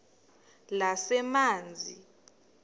lezamanzi